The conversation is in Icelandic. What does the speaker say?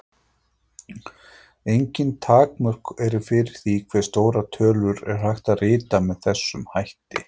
Engin takmörk eru fyrir því hve stórar tölur er hægt að rita með þessum hætti.